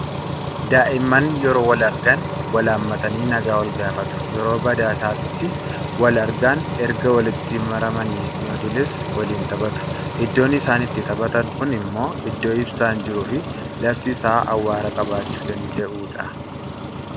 Daa'imman yeroo wal argan wal haammatanii nagaa walgaafatu. Yoo badaasaatti wal argan erga walitti maramanii noodles waliin taphatu. Iddoon isaan itti taphatan kun immoo iddoo ibsaan jiruu fi lafti isaa awwaara qabaachuu danada'udha.